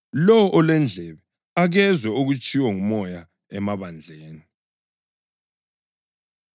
Lowo olendlebe, akezwe okutshiwo nguMoya emabandleni.”